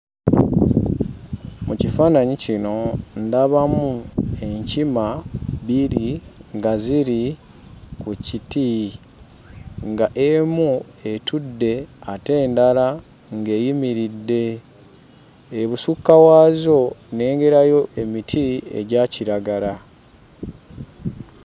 Mu kifaananyi kino ndabamu enkima bbiri nga ziri ku kiti ng'emu etudde ate endala ng'eyimiridde. Ebusukka waazo nnengerayo emiti egya kiragala.